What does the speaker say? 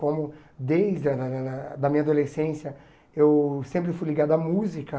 Como desde a da da da da minha adolescência eu sempre fui ligado à música.